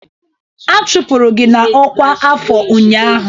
A chụpụrụ gị na ọkwa afọ ụnyaahụ!